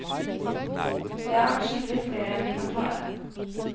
Det er adskillig flere enn vi kan klare.